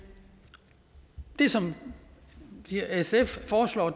det som sf foreslår